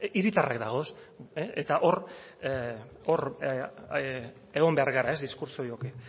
hiritarrak dagoz eta hor egon behar gara diskurtso horiek